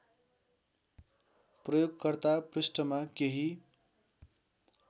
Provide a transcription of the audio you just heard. प्रयोगकर्ता पृष्ठमा केही